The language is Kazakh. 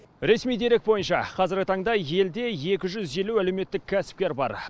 ресми дерек бойынша қазіргі таңда елде екі жүз елу әлеуметтік кәсіпкер бар